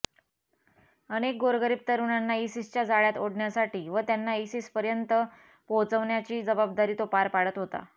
अनेक गोरगरीब तरुणांना इसिसच्या जाळ्यात ओढण्याची व त्यांना इसिसपर्यंत पोहोचवण्याची जबाबदारी तो पार पाडत होता